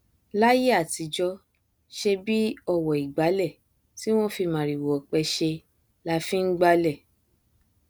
láíyé àtijọ ṣèbí ọwọ ìgbálẹ tí wọn fi màrìwò ọpẹ ṣe la fi ngbálẹ